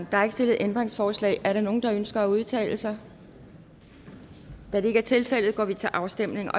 der er ikke stillet ændringsforslag er der nogen der ønsker at udtale sig da det ikke tilfældet går vi til afstemning